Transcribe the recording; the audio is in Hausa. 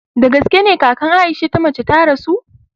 Dagaske ne kakan Aisha ta mace ta rasu?